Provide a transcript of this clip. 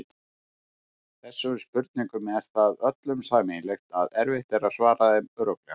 Þessum spurningum er það öllum sameiginlegt að erfitt er að svara þeim örugglega.